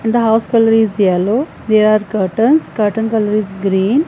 and the house colour is yellow there are curtains curtain colour is green.